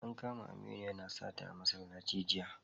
An kama Aminu yana sata a masallaci jiya